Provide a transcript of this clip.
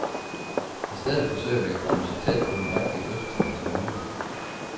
I stedet forsøger vi at komme så tæt på den rigtige fødselsdag som muligt.